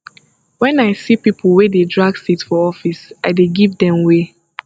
wen i see pipo wey dey drag seat for office i dey give dem way